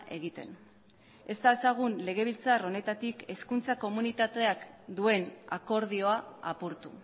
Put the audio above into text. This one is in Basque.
egiten ez dezagun legebiltzar honetatik hezkuntza komunitateak duen akordioa apurtu